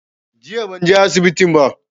Jiya ban je asibitin ba